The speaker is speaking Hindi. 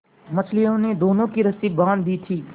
मछलियों ने दोनों की रस्सियाँ बाँध दी थीं